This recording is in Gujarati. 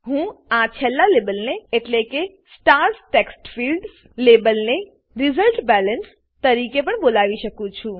હું આ છેલ્લા લેબલને એટલે કે સ્ટાર્સ ટેક્સ્ટફિલ્ડ્સ સ્ટાર્સ ટેક્સ્ટફિલ્ડ્સ લેબલને રિઝલ્ટબેલેન્સ રીઝલ્ટબેલેન્સ તરીકે પણ બોલાવી શકું છું